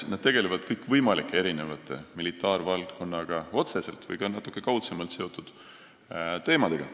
Nad tegelevad kõikvõimalike militaarvaldkonnaga otseselt või ka natuke kaudsemalt seotud teemadega.